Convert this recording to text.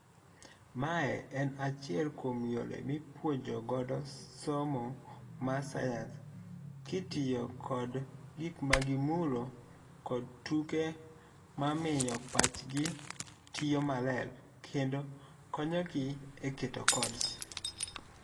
Mae en achiel kuom yore mipuonjo godo somo mar science kitiyo kod gik magimulo kod tuke mamiyo pachgi tiyo maler kendo konyogi eketo codes.